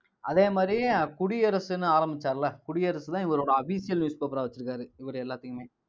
அதே மாதிரி, குடியரசுன்னு ஆரம்பிச்சாருல்ல குடியரசுதான் இவரோட official newspaper ஆ வச்சிருந்தாரு இவரு எல்லாத்தையுமே